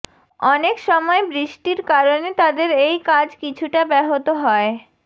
অনেক সময় বৃষ্টির কারণে তাদের এই কাজ কিছুটা ব্যাহত হয়